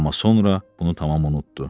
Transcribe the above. Amma sonra bunu tamam unutdu.